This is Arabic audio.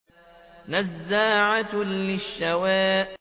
نَزَّاعَةً لِّلشَّوَىٰ